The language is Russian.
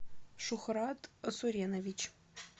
шухрат суренович